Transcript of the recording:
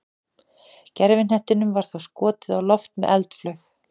gervihnettinum var þá skotið á loft með eldflaug